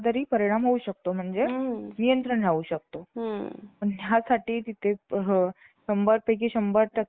गहू काढण्यासाठी किंवा आणखी काही,